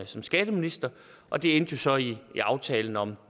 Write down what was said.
som skatteminister og det endte så i aftalen om et